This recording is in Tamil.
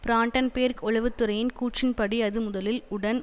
பிராண்டன்பேர்க் உளவு துறையின் கூற்றின்படி அது முதலில் உடன்